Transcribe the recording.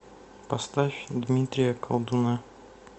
поставь дмитрия колдуна